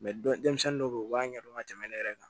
denmisɛnnin dɔw bɛ ye u b'a ɲɛdɔn ka tɛmɛ ne yɛrɛ kan